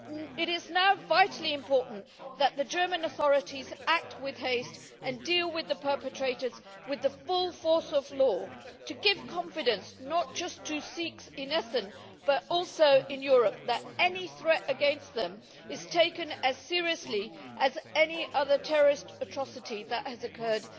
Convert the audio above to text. It is now vitally important that the German authorities act with haste and deal with the perpetrators with the full force of the law, to give confidence not just to Sikhs in Essen, but also in Europe, that any threat against them is taken as seriously as any other terrorist atrocity that has occurred